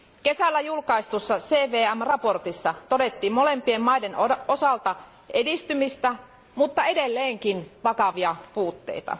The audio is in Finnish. Kesällä julkaistussa CVM raportissa todettiin molempien maiden osalta edistymistä mutta edelleenkin vakavia puutteita.